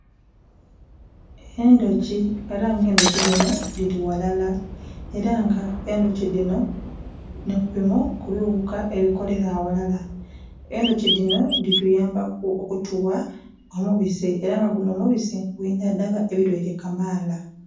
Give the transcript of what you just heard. Endhoki era nga endhoki dhino dhili ghalala era nga endhoki dhino nhi kubinho ekighuka ebikolela aghalala. Endhoki dhino dhituyambaku okutugha omubisi era nga gunho omubisi gwidhandhaba endhwaire kamaala